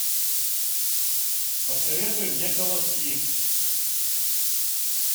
посоветуй мне колоски